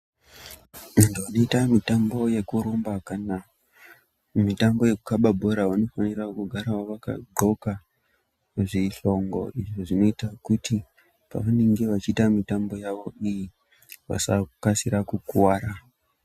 Antu anoita mitambo yekurumba kana mitambo yekukaba bhora vanofanira gara vakadxoka zvihlongo izvo zvinoita kuti pavanenge vachiita mitambo yawo iyi vasakasika kukuwara.